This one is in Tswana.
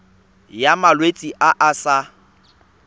ya malwetse a a sa